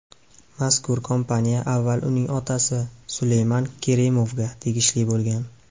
Mazkur kompaniya avval uning otasi Suleyman Kerimovga tegishli bo‘lgan.